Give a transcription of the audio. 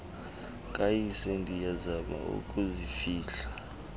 kayise ndiyazama ukuzifihla